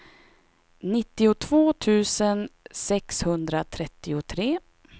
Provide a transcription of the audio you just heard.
nittiotvå tusen sexhundratrettiotre